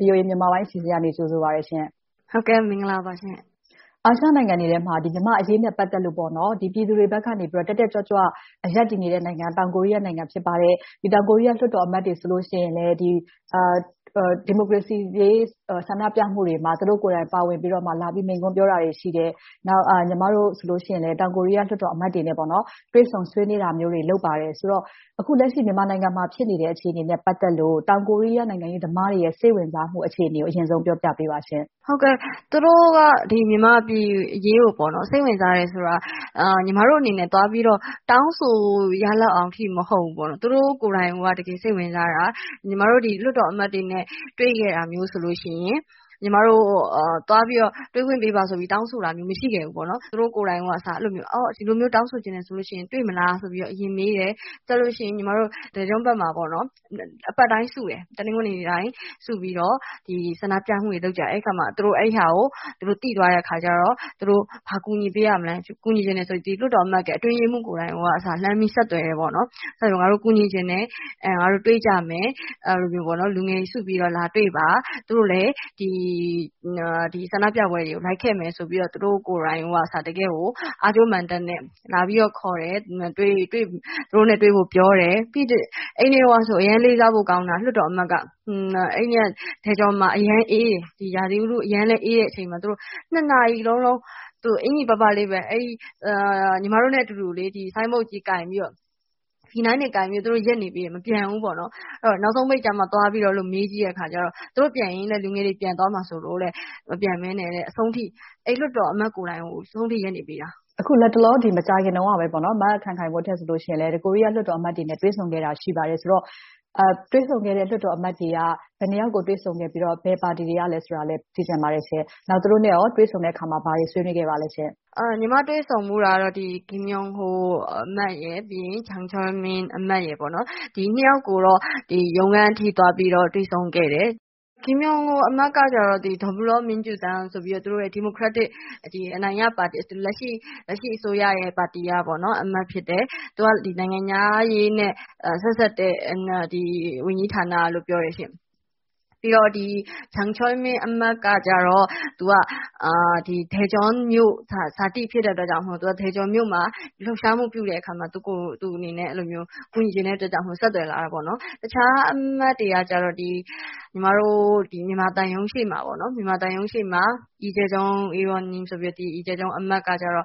VOA မြန်မာပိုင်းအစီအစဉ်က ကြိုဆိုပါတယ်ရှင့်။ အာရှနိုင်ငံတွေထဲမှာ မြန်မာ့အရေးနဲ့ ပတ်သက်လို့ ပြည်သူတွေဘက်ကနေ တက်တက်ကြွကြွ ရပ်တည်နေတဲ့ နိုင်ငံက တောင်ကိုရီးယားနိုင်ငံ ဖြစ်ပါတယ်။ တောင်ကိုရီးယား လွှတ်တော်အမတ်တွေဆိုရင်လဲ ဒီမိုကရေစီအရေး ဆန္ဒပြပွဲတွေမှာ သူတို့ကိုယ်တိုင်ပါဝင်ပြီးတော့ မိန့်ခွန်းပြောတာတွေ ရှိတယ်။ ညီမတို့ဆိုရင်လဲ တောင်ကိုရီးယား လွှတ်တော်အမတ်တွေနဲ့ တွေ့ဆုံဆွေးနွေးတာတွေ လုပ်ပါတယ်။ ဆိုတော့ အခုလက်ရှိ မြန်မာနိုင်ငံမှာ ဖြစ်နေတဲ့ အခြေအနေနဲ့ ပတ်သက်လို့ တောင်ကိုရီးယား နိုင်ငံရေးသမားတွေရဲ့ စိတ်ဝင်စားမှုအခြေအနေကို အရင်ဆုံး ပြောပြပေးပါရှင့်။ မင်္ဂလာပါရှင့်။ သူတို့က မြန်မာပြည်အရေးကို စိတ်ဝင်စားတယ်ဆိုတာ ညီမတို့အနေနဲ့ သွားပြီးတော့ တောင်းဆိုရလောက်အောင်အထိ မဟုတ်ဘူး။ သူတို့ိကိုယ်တိုင်က တကယ်စိတ်ဝင်စားတာ။ ညီမတို့ လွှတ်တော်အမတ်တွေနဲ့ တွေ့ခဲ့တာဆိုရင် ညီမတို့က တွေ့ခွင့်ပေးပါဆိုပြီးတော့ တောင်းဆိုခဲ့တာ မရှိခဲ့ဘူး။ သူတို့ကိုယ်တိုင်က ဒီလိုမျိုး တောင်းဆိုချင်တယ်ဆိုရင် တွေ့မလားဆိုပြီးတော့ အရင်မေးတယ်။ ပြီးတော့ ညီမတို့က ဒေဂျွန်ဘက်မှာ အပတ်တိုင်းစုတယ်။ တနင်္ဂနွေနေ့တိုင်း စုပြီးတော့ ဆန္ဒပြမှုတွေ လုပ်ကြတယ်။ အဲဒီအခါမှာ သူတို့သိသွားတဲ့အခါမှာ သူတို့ဘာကူညီပေးရမလဲ၊ ကူညီချင်တယ်ဆိုပြီးတော့ လွှတ်တော်အမတ်တွေရဲ့ အတွင်းရေးမှူးကိုယ်တိုင်က ဆက်သွယ်တယ်။ ငါတို့ ကူညီချင်တယ်၊ တွေ့ကြမယ်။ လူငယ်တွေစုပြီးတော့ လာတွေ့ပါ။ သူတို့လည်း ဆန္ဒပြပွဲတွေကို လိုက်ခဲ့မယ်ဆိုပြီး သူတို့ကိုယ်တိုင်က တကယ့်ကို အားကြိုးမာန်တက်နဲ့ လာပြီးတော့ ခေါ်တယ်၊ သူတို့နဲ့တွေ့ဖို့ ပြောတယ်။ အဲဒီနေ့ကဆိုရင် အရမ်းလေးစားဖို့ကောင်းတာ လွှတ်တော်အမတ်က အဲဒီနေ့က ဒေဂျွန်မှာ အရမ်းအေးတယ်။ ရာသီဥတု အရမ်းအေးတဲ့အချိန်မှာ နာရီလုံးလုံး အင်္ကျီပါးပါးလေးနဲ့ပဲ ညီမတို့နဲ့အတူတူ ဆိုင်းဘုတ်ကြီးကိုင်ပြီးတော့ ရပ်နေပေးမယ်။ သူတို့မပြန်ဘူး။ နောက်ဆုံးပိတ်မှာ သွားမေးကြည့်တဲ့အခါ သူတို့ပြန်ရင် လူငယ်တွေ ပြန်သွားမှာစိုးလို့တဲ့ မပြန်ဘဲနဲ့ အဆုံးအထိ အဲဒီလွှတ်တော်အမတ်ကိုယ်တိုင် အဆုံးအထိ ရပ်တည်ပေးခဲ့တယ်။ အခုလတ်တလော မကြာခင်တုန်းကပဲ မခိုင်ခိုင်မိုးထက်ဆိုရင် ကိုရီးယားလွှတ်တော်အမတ်တွေနဲ့ တွေ့ဆုံခဲ့တာ ရှိပါတယ်ဆိုတော့ တွေ့ဆုံခဲ့တဲ့ လွှတ်တော်အမတ်တွေက ဘယ်နှစ်ယောက်ကို တွေ့ဆုံခဲ့ပြီးတော့၊ ဘယ်ပါတီတွေကလဲ ဆိုတာကိုလည်း သိချင်ပါတယ်။ နောက်ပြီးတော့ သူတို့နဲ့ တွေ့ဆုံတဲ့အခါ ဘာတွေဆွေးနွေးခဲ့ပါသလဲရှင့်။ ညီမတွေ့ဆုံခဲ့တာတော့ ကမ်မြောင်းဟိုအမတ်နဲ့ ချောင်ချန်မင်းအမတ်တို့ နှစ်ယောက်ကိုတော့ ရုံးခန်းအထိ သွားပြီးတော့ တွေ့ဆုံခဲ့တယ်။ ကမ်မြောင်းဟိုအမတ်က -- ဒီမိုကရက်တစ် အနိုင်ရပါတီ - လက်ရှိ အစိုးရပါတီက အမတ်ဖြစ်တယ်။ သူက နိုင်ငံခြားရေးနဲ့ ဆက်စပ်တဲ့ ဝန်ကြီးဌာနကလို့ ပြောပါတယ်။ ချန်ချောင်မင်းအမတ်ကတော့ သူကတော့ ဒေဂျွန်မြို့ဇာတိဖြစ်တဲ့အတွက်ကြောင့် ဒေဂျွန်မြို့မှာ လှုပ်ရှားမှုပြုတဲ့အခါမှာ သူ့အနေနဲ့ ကူညီချင်တဲ့အတွက်ကြောင့်မို့ ဆက်သွယ်လာတာပါ။ အခြားအမတ်တွေကြတော့ ညီမတို့ မြန်မာသံရုံးရှေ့မှာ အီဂျယ်ဂျောင်အမတ်ကတော့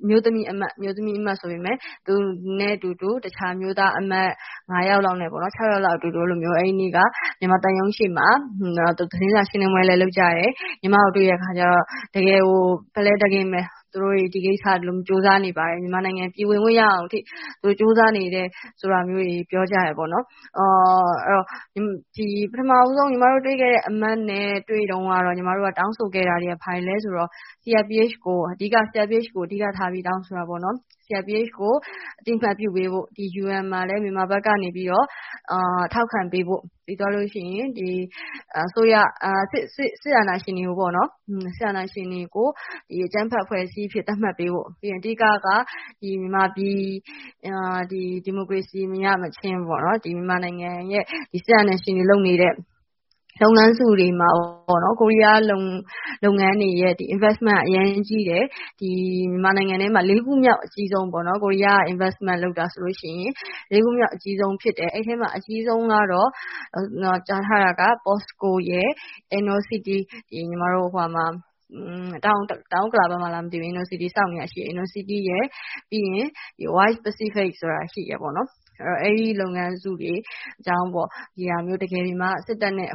အမျိုးသမီးအမတ်။ သူနဲ့အတူတူ အခြားအမျိုးသားအမတ် ယောက်လောက်နဲ့ ယောက်လောက် မြန်မာသံရုံးရှေ့မှာ သတင်းစာရှင်းလင်းပွဲလည်း လုပ်ကြတယ်။ ညီမကို တွေ့တဲ့အခါမှာ တကယ်ကို ဖက်လဲတကင်းပဲ သူတို့တွေ သူတို့တွေ ကြိုးစားနေပါတယ်။ မြန်မာနိုင်ငံကို ပြည်ဝင်ခွင့်ရအောင်အထိ ကြိုးစားနေတယ်ဆိုတာကို ပြောကြတယ်။ ညီမတို့ ပထမဦးဆုံး တွေ့ခဲ့တဲ့ အမတ်နဲ့ တွေ့တုန်းက တောင်းဆိုခဲ့တာတွေက ဘာတွေလဲဆိုတော့ CRPH အတွက် အဓိကထား တောင်းဆိုခဲ့တယ်။ CRPH ကို အသိအမှတ်ပြုပေးဖို့ UN မှာလည်း မြန်မာဘက်ကနေ ထောက်ခံပေးဖို့။ ပြီးတော့ စစ်အာဏာရှင်တွေကို အကြမ်းဖက်အဖွဲ့အစည်းအဖြစ် သတ်မှတ်ပေးဖို့။ အဓိကတော့ မြန်မာပြည် ဒီမိုကရေစီ မရမချင်း မြန်မာနိုင်ငံ စစ်အာဏာရှင်တွေ လုပ်နေတဲ့ လုပ်ငန်းစုတွေမှာ ကိုရီးယားလုပ်ငန်းတွေရဲ့ investment က အရမ်းအရေးကြီးတယ်။ မြန်မာနိုင်ငံထဲမှာ လေးခုမြောက် အကြီးဆုံး ကိုရီးယား ဖြစ်တယ်။ အဲဒီမှာ အကြီးဆုံးက ကြားထားတာက POSCO, Inno City – တောင်ဥက္ကလာဘက်မှာ ဆောက်နေတာရယ်၊ ပြီးတော့ Pan-Pacific တို့ ဖြစ်တယ်။ အဲဒီလုပ်ငန်းစုတွေက စစ်တပ်နဲ့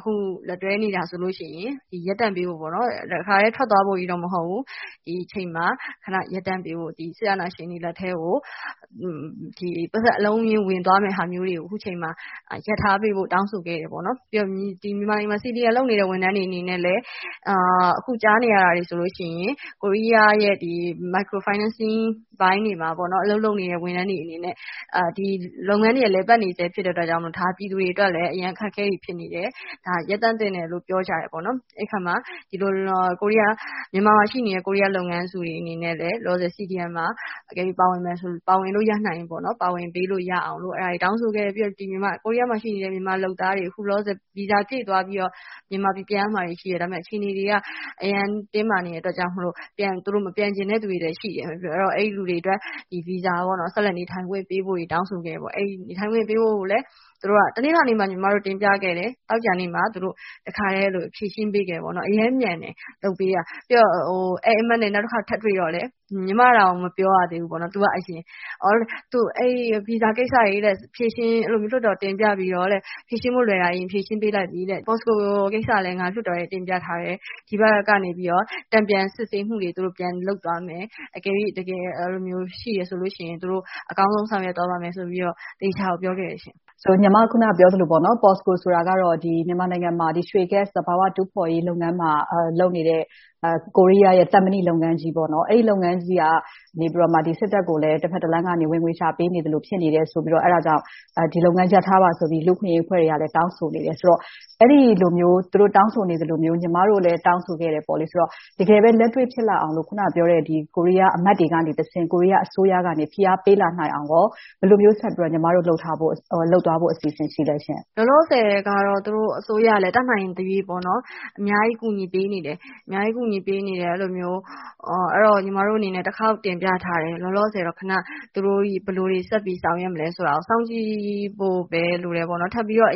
လက်တွဲနေတာတွေကို ရပ်တန့်ပေးဖို့။ တခါတည်း ထွက်သွားပေးဖို့ မဟုတ်ဘဲ။ ဒီအချိန်မှာ ခေတ္တရပ်တန့်ပေးဖို့ စစ်အာဏာရှင်လက်ထဲကို ပိုက်ဆံအလုံးအရင်းနဲ့ ဝင်သွားမယ့်ဟာကို အခုအချိန်မှာ ရပ်ထားပေးဖို့ တောင်းဆိုခဲ့တယ်။ နောက်ပြီးတော့ မြန်မာပြည်မှာ CDM လုပ်နေတဲ့ ဝန်ထမ်းတွေကိုလည်း အခုကြားနေရတာက ကိုရီးယားရဲ့ microfinancing ပိုင်းတွေမှာ အလုပ်လုပ်နေတဲ့ ဝန်ထမ်းတွေအနေနဲ့ လုပ်ငန်းတွေက လည်ပတ်နေဆဲ ဖြစ်တဲ့အတွက် ပြည်သူတွေအနေနဲ့ အရမ်းအခက်အခဲတွေ ဖြစ်နေတယ်။ ဒါတွေကို ရပ်တန့်သင့်တယ်လို့ ပြောကြတယ်။ အဲဒီအခါမှာ မြန်မာနိုင်ငံမှာရှိတဲ့ ကိုရီးယားလုပ်ငန်းစုတွေလည်း လောလောဆယ် CDM မှာ အကယ်လို့ ပါဝင်လို့ ရနိုင်မယ်ဆိုရင် ပါဝင်ပေးဖို့ တောင်းဆိုခဲ့ပြီး၊ ကိုရီးယားမှာရှိတဲ့ မြန်မာလုပ်သားတွေကို အခုလောလောဆယ်မှာ ဗီဇာပြည့်သွားပြီးတော့ မြန်မာနိုင်ငံကို ပြန်ရမှာတွေ ရှိတယ်။ ဒါပေမဲ့ အခြေအနေတွေက အရမ်းတင်းမာနေတဲ့အတွက်ကြောင့် မပြန်ချင်တဲ့လူတွေလည်း ရှိတယ်။ အဲဒါကြောင့် အဲဒီလူတွေအတွက် ဆက်လက်နေထိုင်ခွင့် ဗီဇာတွေပေးဖို့ တောင်းဆိုခဲ့တယ်။ ညီမတို့ တနင်္လာနေ့မှာ တင်ပြခဲ့တယ်၊ သောကြာနေ့မှာ သူတို့တခါတည်း ဖြေရှင်းပေးခဲ့တယ်။ အရမ်းမြန်တယ်။ လုပ်ပေးတာ။ အဲဒီအမတ်နဲ့ နောက်တခေါက် ထပ်တွေ့တော့လဲ ညီမတောင် မပြောရသေးဘူး၊ သူက အရင်ပြောတယ် - ဗီဇာကိစ္စတွေကို ဖြေရှင်းဖို့ လွှတ်တော်တင်ပြပြီးတော့ ဖြေရှင်းလို့လွယ်တာကို ဖြေရှင်းလိုက်ပြီ။ POSCO ကိစ္စလည်း လွှတ်တော်ထဲ တင်ပြထားပြီးပြီ။ ဒီဘက်ကနေ တန်ပြန်စစ်ဆေးမှုတွေ ပြန်လုပ်သွားမယ်။ အကယ်၍ တကယ်ရှိတယ်ဆိုရင် သူတို့ အကောင်းဆုံး ဆောင်ရွက်သွားပါမယ်ဆိုပြီးတော့ သေချာကို ပြောခဲ့ပါတယ်။ ညီမ အခုနပြောခဲ့သလို POSCO ကတော့ မြန်မာနိုင်ငံမှာ ရွှေဂတ်စ် သဘာဝဂတ်စ် တူးဖော်ရေးလုပ်ငန်းကို လုပ်နေတဲ့ ကိုရီးယားရဲ့ သံမဏိလုပ်ငန်းကြီး။ အဲဒီလုပ်ငန်းကြီးက စစ်တပ်ကို တဘက်တလမ်းကနေ ဝင်ငွေရှာပေးသလို ဖြစ်နေတာကြောင့် ဒီလုပ်ငန်းကို ရပ်ထားပါဆိုပြီးတော့ လူ့အခွင့်အရေးအဖွဲ့တွေကလည်း တောင်းဆိုနေတယ်ဆိုတော့ အဲဒီသလိုမျိုး သူတို့တောင်းဆိုနေသလိုမျိုး ညီမတို့လည်း တောင်းဆိုခဲ့တယ်ဆိုတော့ တကယ်ပဲ လက်တွေ့ဖြစ်လာအောင်လို့ အခုနပြောတဲ့ ကိုရီးယားအမတ်တွေကတဆင့် အစိုးရကနေ ဖိအားပေးလာနိုင်အောင် ဘယ်လိုမျိုး ဆက်ပြီးတော့ လုပ်သွားဖို့ အစီအစဉ် ရှိပါသလဲ။ လောလောဆယ်တော့ သူတို့အစိုးရလည်း တတ်နိုင်သရွေ့ အများကြီး ကူညီပေးနေတယ်။ ညီမတို့အနေနဲ့ တခေါက်တင်ပြထားတယ်။ လောလောဆယ်တော့ သူတို့ ဘယ်လိုတွေ ဆက်ပြီးဆောင်ရွက်မလဲဆိုတာကို စောင့်ကြည့်ဖို့ပဲ လိုတယ်။ ထပ်ပြီးတော့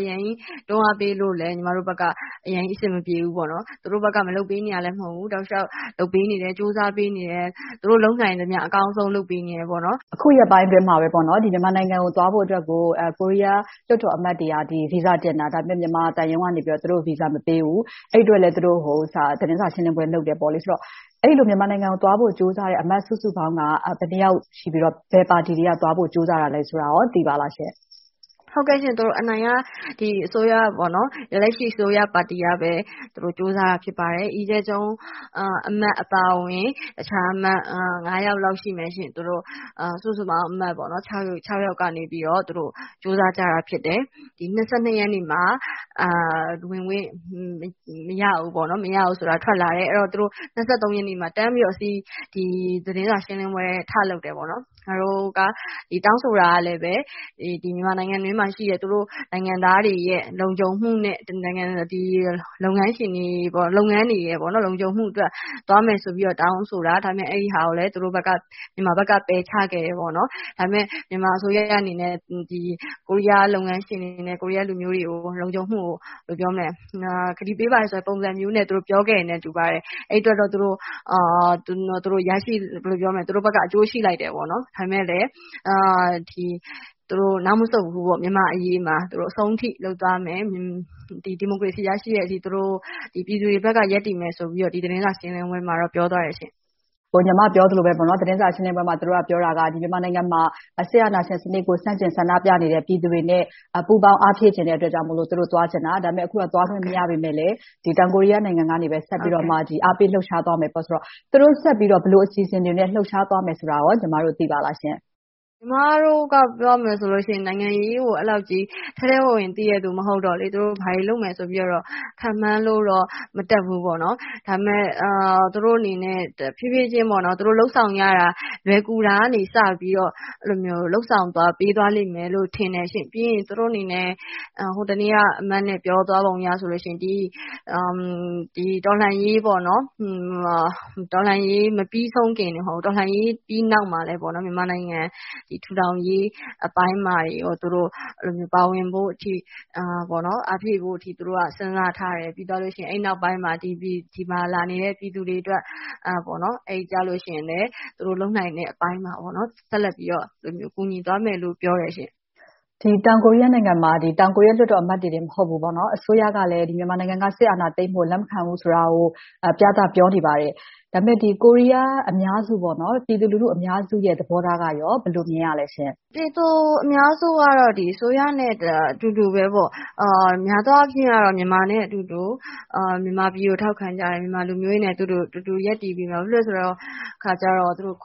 တွန်းအားပေးဖို့လဲ ညီမတို့ဘက်က အဆင်မပြေဘူး။ သူတို့ဘက်က မလုပ်ပေးနေတာလဲ မဟုတ်ဘူး၊ တောက်လျှောက်လုပ်ပေးနေတယ်၊ ကြိုးစားပေးနေတယ်။ သူတို့လုပ်နိုင်သမျှ အကောင်းဆုံး လုပ်ပေးနေတယ်။ အခုရက်ပိုင်းအတွင်းမှာပဲ မြန်မာနိုင်ငံကို သွားဖို့အတွက် ကိုရီးယားလွှတ်တော်အမတ်တွေက ဗီဇာတင်တာ။ မြန်မာသံရုံးကနေ သူတို့ကို ဗီဇာ မပေးဘူး။ အဲဒီအတွက်လဲ သူတို့တွေ သတင်းစာ ရှင်းလင်းပွဲ လုပ်ခဲ့တယ်။ အဲဒီလို မြန်မာနိုင်ငံကို သွားဖို့ကြိုးစားတဲ့ အမတ်စုစုပေါင်းက ဘယ်နှစ်ယောက် ရှိပြီးတော့၊ ဘယ်ပါတီတွေကိ သွားဖို့ကြိုးစားကြတာလဲဆိုတာကို သိပါသလားရှင့်။ အနိုင်ရ လက်ရှိအစိုးရပါတီကပဲ ကြိုးစားတာ ဖြစ်ပါတယ်။ အီဂျယ်ဂျုန်းအမတ်အပါအဝင် အခြားအမတ် ယောက်လောက် ရှိမယ်။ စုစုပေါင်း အမတ် ယောက်ကနေ ကြိုးစားကြတာ ဖြစ်တယ်။ မတ်လ ရက်နေ့မှာ ဝင်ခွင့်မရဘူး။ မရဘူးဆိုတာ ထွက်လာတယ်။ ရက်နေ့မှာ သတင်းစာရှင်းလင်းပွဲ ထလုပ်တယ်။ ငါတို့တောင်းဆိုတာက မြန်မာနိုင်ငံတွင်းမှာရှိတဲ့ သူတို့နိုင်ငံသားတွေရဲ့ လုံခြုံမှုနဲ့ လုပ်ငန်းတွေရဲ့ လုံခြုံမှုတွေအတွက် သွားမယ်ဆိုတဲ့အတွက် တောင်းဆိုတာကို မြန်မာဘက်က ပယ်ချခဲ့တယ်။ ဒါပေမဲ့ မြန်မာအစိုးရအနေနဲ့ ကိုရီးယားလုပ်ငန်းရှင်တွေနဲ့ ကိုရီးယားလူမျိုးတွေကို လုံခြုံမှုပေးပါမယ်ဆိုတဲ့ ကတိပေးပါတယ်ဆိုတဲ့ ပုံစံမျိုးနဲ့ ပြောခဲ့တယ်လို့ ဆိုပါတယ်။ အဲဒီအတွက် သူတို့ဘက်က အကျိုးရှိလိုက်တယ် ဆိုပေမယ့်လဲ သူတို့နောက်မဆုတ်ဘူး၊ မြန်မာ့အရေးအတွက် အဆုံးအထိ လုပ်ပေးသွားမယ်။ ဒီမိုကရေစီ ရရှိတဲ့အထိ ပြည်သူတွေဘက်က ရပ်တည်ပေးမယ်ဆိုပြီးတော့ သတင်းစာရှင်းလင်းပွဲမှာ ပြောသွားပါတယ်။ ညီမပြောသလိုပဲ သတင်းစာရှင်းလင်းပွဲမှာ သူတို့ပြောတာက မြန်မာနိုင်ငံမှာ စစ်အာဏာရှင်စနစ်ကို ဆန့်ကျင်ဆန္ဒပြနေကြတဲ့ ပြည်သူတွေနဲ့ ပူးပေါင်းအားဖြည့်ချင်တဲ့ အတွက်ကြောင့်မို့ သူတို့သွားချင်တာ။ အခုတော့ သွားခွင့်မရပေမယ့်လဲ တောင်ကိုရီးယားနိုင်ငံကနေ ဆက်ပြီးတော့ အားပေးလှုပ်ရှားသွားမယ်ဆိုတော့ သူတို့ဆက်ပြီးတော့ ဘယ်လိုအစီအစဉ်တွေနဲ့ လှုပ်ရှားသွားမယ်ဆိုတာကို ညီမတို့ သိပါသလားရှင့်။ ညီမတို့က ပြောမယ်ဆိုရင် နိုင်ငံရေးကို ထဲထဲဝင်ဝင် သိတယ်လူမဟုတ်တော့၊ သူတို့ ဘာတွေလုပ်မယ်ဆိုပြီးတော့ ခန့်မှန်းလို့တော့ မတတ်ဘူး။ ဒါပေမဲ့ သူတို့အနေနဲ့ ဖြည်းဖြည်းချင်း လုပ်ဆောင်ရတာ လွယ်ကူရာကနေ စပြီးတော့ လုပ်ဆောင်ပေးသွားလိမ့်မယ်လို့ ထင်ပါတယ်။ ပြီးရင် သူတို့အနေနဲ့ ဟိုတနေ့က အမတ် ပြောသွားပုံအရဆိုရင် တော်လှန်ရေးမပြီးဆုံးခင် တော်လှန်ရေးပြီးနောက်မှာလဲ မြန်မာနိုင်ငံ ထူထောင်ရေးအပိုင်းမှာလည်း သူတို့ပါဝင်တဲ့အထိ အားဖြည့်ဖို့အထိ စဉ်းစားထားတယ်။ အဲဒီနောက်ပိုင်းမှာ ဒီမှာလာနေတဲ့ ပြည်သူတွေအတွက် သူတို့လုပ်နိုင်တဲ့အပိုင်းမှာ ဆက်လက်ပြီးတော့ ကူညီသွားမယ်လို့ ပြောပါတယ်ရှင့်။ တောင်ကိုရီးယားနိုင်ငံမှာ လွှတ်တော်အမတ်တင် မဟုတ်ဘူး၊ အစိုးရကလည်း မြန်မာနိုင်ငံက စစ်အာဏာသိမ်းတာကို လက်မခံဘူးဆိုတာကို ပြသပြောနေပါတယ်။ ဒါပေမဲ့ ကိုရီးယားအများစု၊ ပြည်သူလူထု အများစု သဘောထားကို ဘယ်လိုမြင်ရသလဲရှင့်။ ပြည်သူလူထု အများစုကတော့ အစိုးရနဲ့ ထပ်တူပါပဲ။ များသောအားဖြင့် မြန်မာတွေနဲ့အတူ မြန်မာပြည်ကို ထောက်ခံကြတယ်။ မြန်မာလူမျိုးတွေနဲ့အတူတူ ရပ်တည်ကြတယ်။ ဘာဖြစ်လို့လဲဆိုတော့ ဂွ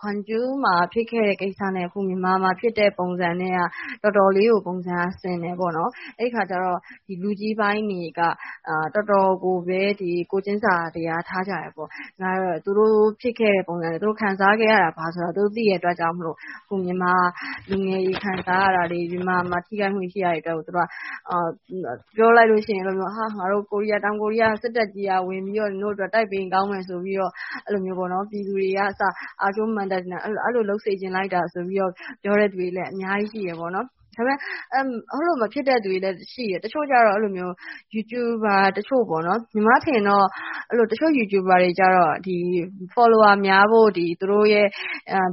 မ်ဂျူးမှာ ဖြစ်ခဲ့တဲ့ကိစ္စနဲ့ အခုမြန်မာမှာဖြစ်တဲ့ ပုံစံက တော်တော်လေးကိုဆင်တယ်။ အဲဒီအခါကြတော့ လူကြီးပိုင်းတွေက တော်တော်လေးကိုပဲ ကိုယ်ချင်စာတရား ထားကြတယ်။ သူတို့ဖြစ်ခဲ့တဲ့ ပုံစံ၊ ခံစားခဲ့ရတာကို သိတဲ့အတွက်ကြောင့်မို့ မြန်မာလူငယ်တွေ ခံစားနေရတာတွေ၊ မြန်မာမှာ ထိခိုက်မှုတွေ ရှိနေတာကို -- ငါတို့ တောင်ကိုရီးယား စစ်တပ်ကြီးက ဝင်ပြီးတော့ တိုက်ပေးရင် ကောင်းမယ်ဆိုပြီး ပြည်သူတွေကအစ အားကြိုးမာန်တတ်နဲ့ အဲဒီလို လုပ်စေချင်လိုက်တာဆိုပြီး ပြောတဲ့လူတွေလည်း အများကြီးရှိတယ်။ ဒါပေမဲ့ အဲဒီလိုမျိုး မဖြစ်တဲ့လူတွေလည်း ရှိတယ်။ တချို့ကြတော့ YouTube မှာ တချို့ပေါ့။ တချို့ YouTuber တွေကြတော့ Followers များဖို့အတွက် သူတို့ရဲ့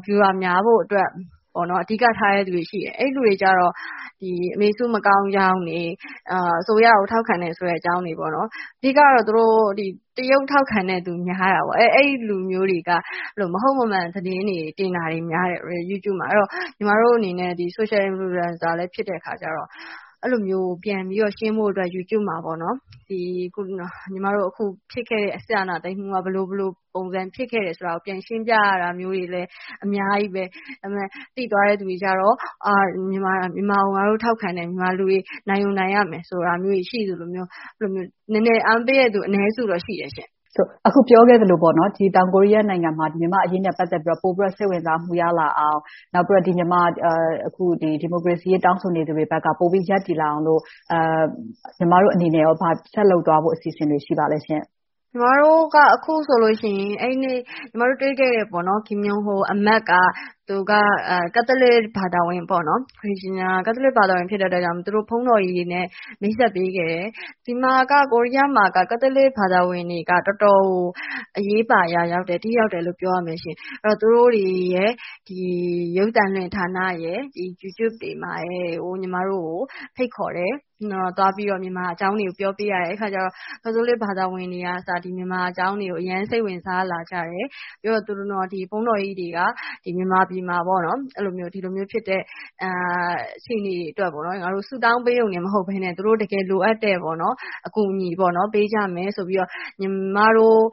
Viewers များဖို့အတွက် အဓိကထားတဲ့လူတွေ ရှိတယ်။ အဲဒီလူတွေကြတော့ အမေစု မကောင်းကြောင်းတွေ၊ အစိုးရကို ထောက်ခံတယ်ဆိုတဲ့အကြောင်းတွေ။ အဓိကတော့ တရုတ်ထောက်ခံတဲ့လူ များတာပေါ့။ အဲဒီလူမျိုးတွေက မဟုတ်မမှန် သတင်းတွေ တင်တာတွေများတယ်။ ညီမတို့အနေနဲ့ Social Influencer လည်း ဖြစ်တာကြောင့် အဲဒီလိုမျိုး ရှင်းဖို့အတွက် YouTube မှာ အခုဖြစ်ခဲ့တဲ့ စစ်အာဏာသိမ်းမှုက ဘယ်လိုဖြစ်ခဲ့တယ်ဆိုတာကို ပြန်ရှင်းပြရတာတွေလည်း အများကြီးပဲ။ သိသွားတဲ့ လူတွေကြတော့ ငါတို့ မြန်မာကို ထောက်ခံတယ်။ မြန်မာလူမျိုးတွေ နိုင်ကိုနိုင်ရမယ် ဆိုတာမျိုးတွေ ရှိသလိုမျိုး၊ နည်းနည်းအားပေးတဲ့လူ အနည်းစုတော့ ရှိတယ်ရှင့်။ အခုပြောခဲ့သလို တောင်ကိုရီးယားနိုင်ငံမှာ မြန်မာ့အရေးနဲ့ ပတ်သက်ပြီးတော့ ပိုပြီးတော့ စိတ်ဝင်စားမှု ရလာအောင် နောက် ဒီမိုကရေစီအရေး တောင်းဆိုသူတွေဘက် ပိုပြီးရပ်တည်လာအောင်လို့ ညီမတို့အနေနဲ့ ဘာတွေဆက်လုပ်သွားဖို့ အစီအစဉ်တွေ ရှိပါသလဲရှင့်။ ညီမတို့က အခုဆိုလို့ရှိရင် ညီမတို့တွေ့ခဲ့တဲ့ ကမ်မြောင်းဟိုအမတ်က သူက ကတ်သလစ်ဘာသာဝင် ဖြစ်တဲ့အတွက်ကြောင့်မို့ သူတို့ဘုန်းတော်ကြီးတွေနဲ့ မိတ်ဆက်ပေးခဲ့တယ်။ ကိုရီးယားမှာက ကတ်သလစ်ဘာသာဝင်တွေက တော်တော်ကို အရေးပါအရာရောက်တယ်။ ထိရောက်တယ်လို့ ပြောရမယ်။ သူတို့တွေရယ်၊ ရုပ်သံလွှင့်ဌာနရယ်၊ YouTube တွေမှာ ညီမတို့ကို ဖိတ်ခေါ်တယ်။ သွားပြီးတော့ မြန်မာအကြောင်းတွေကို ပြောပေးရတယ်။ အဲဒီအခါ ကတ်သလစ်ဘာသာဝင်တွေက မြန်မာအကြောင်းကို အရမ်းစိတ်ဝင်စားလာကြတယ်။ ပြီးတော့ ဘုန်းတော်ကြီးတွေက မြန်မာပြည်မှာ ဒီလိုမျိုးဖြစ်တဲ့ အခြေအနေတွေအတွက် ဆုတောင်းပေးရုံတင်မဟုတ်ဘဲနဲ့ သူတို့ တကယ်လိုအပ်တဲ့ အကူအညီတွေကို ပေးကြမယ်ဆိုပြီးတော့ ညီမတို့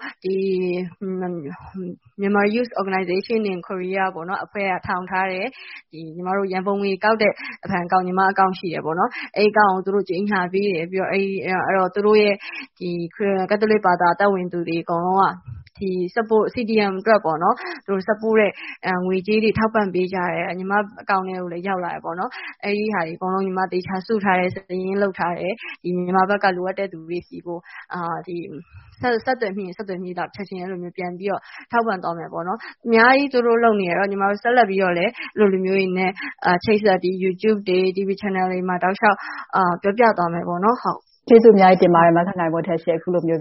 Myanmar Youth Organization in Korea က ထောင်ထားတဲ့ ညီမတို့ ရန်ပုံငွေကောက်တဲ့ ညီမဘဏ်အကောင့်ကို သူတို့ကြေညာပေးတယ်။ သူတို့ရဲ့ ကတ်သလစ်ဘာသာ သက်ဝင်သူတွေ အကုန်လုံးက CDM အတွက် ငွေကြေးတွေ ထောက်ပံ့ပေးတယ်။ ညီမအကောင့်ထဲကို ရောက်လာကြတယ်။ အဲဒါတွေကို ညီမ သေချာစုထားတယ်။ စာရင်းလုပ်ထားတယ်။ မြန်မာဘက်က လိုအပ်တဲ့လူတွေကို ဆက်သွယ်မိရင် ဆက်သွယ်မိသလောက် ချက်ချင်းပြန်ပြီးတော့ ထောက်ပံ့သွားမယ်။ အများကြီး သူတို့လုပ်ပေးနေတယ်။ ညီမတို့ ဆက်လက်ပြီးတော့ အဲဒီလိုလူမျိုးတွေနဲ့ ချိတ်ဆက်ပြီး YouTube တွေ၊ TV Channel တွေမှာ တောက်လျှောက်ပြောပြသွားပါမယ်။ ကျေးဇူးအများကြီး တင်ပါတယ်။ မခိုင်ခိုင်မိုးထက်ရှင့်။ အခုလိုမျိုး